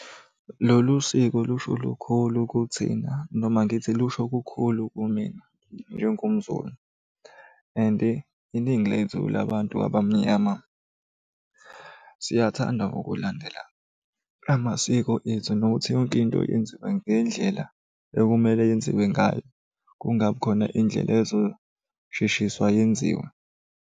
Lolu siko lusho lukhulu kuthina noma ngithi lusho kukhulu kumina njengomZulu and iningi lethu labantu abamnyama siyathanda ukulandela lamasiko ethu, nokuthi yonke into yenziwe ngendlela ekumele yenziwe ngayo, kungabi khona indlela ezosheshiswa yenziwe.